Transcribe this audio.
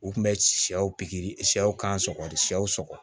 U kun bɛ sɛw pikiri siyɛw kan sɔgɔli sɛw sɔgɔ